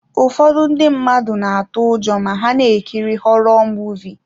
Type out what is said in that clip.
Ụfọdụ ndị mmadụ na-atụ ụjọ ma ha na-ekiri họrọ Muvịị.